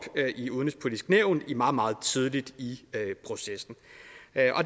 i udenrigspolitisk nævn meget meget tidligt i processen